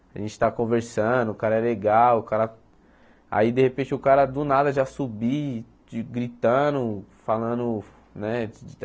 A gente está conversando, o cara é legal, o cara... Aí, de repente, o cara do nada já subir, de gritando, falando, né?